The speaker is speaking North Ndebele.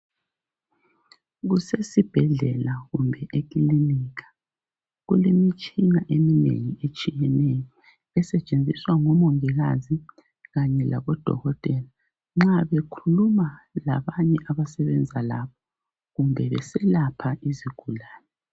Kusesibhedlela kumbe ekilinika, kulemitshina eminengi etshiyeneyo esetshenziswa ngomongikazi kanye labodokotela nxa bekhuluma labanye abasebenza labo kumbe beselapha izigulane